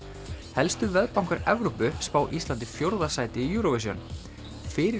helstu Evrópu spá Íslandi fjórða sæti í Eurovision fyrir